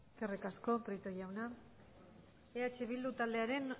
eskerrik asko prieto jauna eh bildu taldearen